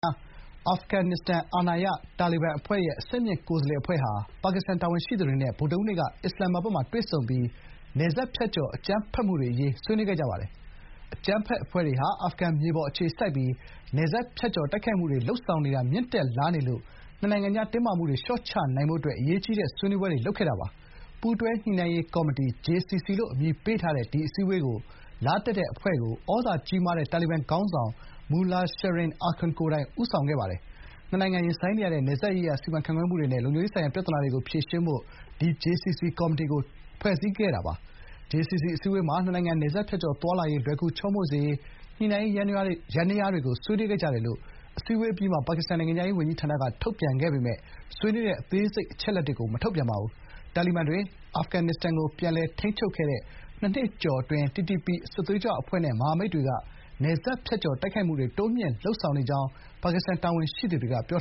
အာဖဂန်နစ္စတန်အာဏာရတာလီဘန်အဖွဲ့ရဲ့ အဆင့်မြင့်ကိုယ်စားလှယ်အဖွဲ့ဟာ ပါကစ္စတန်တာဝန်ရှိသူတွေနဲ့ ဗုဒ္ဓဟူးနေ့က အစ္စလာမာဘတ်မှာတွေ့ဆုံခဲ့ပြီး နယ်စပ်ဖြတ်ကျော် အကြမ်းဖက်မှုတွေအရေး ဆွေးနွေးခဲ့ကြပါတယ်။ အကြမ်းဖက်အဖွဲ့တွေဟာ အာဖဂန်မြေပေါ်အခြေစိုက်ပြီး နယ်စပ်ဖြတ်ကျော်တိုက်ခိုက်မှုမြင့်တက်လာနေလို့ နှစ်နိုင်ငံကြားတင်းမာနေတာ လျှော့ချနိုင်ဖို့ အရေးကြီးတဲ့ ဆွေးနွေးပွဲတွေ လုပ်ခဲ့တာပါ။ ပူးတွဲညှိနှိုင်းရေးကော်မတီ (JCC) လို့ အမည်ပေးထားတဲ့ အခုအစည်းအဝေးကို လာတက်တဲ့ အာဖဂန်ကာကွယ်ရေးနဲ့ ထောက်လှမ်းရေးတာဝန်ရှိသူတွေပါတဲ့ ကိုယ်စားလှယ်အဖွဲ့ကို သြဇာကြီးမားတဲ့ တာလီဘန်ခေါင်းဆောင် မူလာ ရှရင် အာခွန် (Mullah Shirin Akhund) ကိုယ်တိုင်ဦးဆောင်ခဲ့ကြောင်း တာဝန်ရှိသူတွေက ပြောပါတယ်။ နှစ်နိုင်ငံရင်ဆိုင်နေရတဲ့ နယ်စပ်ရေးရာစီမံခန့်ခွဲမှုတွေနဲ့ လုံခြုံရေးဆိုင်ရာပြဿနာတွေကို ဖြေရှင်းဖို့ ဒီ JCC ကော်မတီကို ဖွဲ့စည်းခဲ့တာပါ။ "JCC အစည်းအဝေးမှာ နှစ်နိုင်ငံ နယ်စပ်ဖြတ်ကျော်သွားလာရေး လွယ်ကူချောမွေ့စေဖို့ ညှိနှိုင်းရေးယန္တရားတွေကို ဆွေးနွေးခဲ့ကြတယ်" လို့ အစည်းအဝေးအပြီးမှာ ပါကစ္စတန် နိုင်ငံခြားရေးဝန်ကြီးဌာနက ထုတ်ပြန်ခဲ့ပေမယ့် ဆွေးနွေးတဲ့ အသေးစိတ်အချက်အလက်တွေကို မထုတ်ပြန်ပါဘူး။ တာလီဘန်တွေ အာဖဂန်နစ္စတန်ကို ပြန်လည်ထိန်းချုပ်ခဲ့တဲ့ နှစ်နှစ်ကျော်ကာလအတွင်း TTP - Tehrik-i-Taliban Pakistan စစ်သွေးကြွအဖွဲ့နဲ့ မဟာမိတ်အဖွဲ့တွေက နယ်စပ်ဖြတ်ကျော်တိုက်ခိုက်မှုတွေ တိုးမြှင့်နေကြောင်း ပါကစ္စတန်တာဝန်ရှိသူတွေက ပြော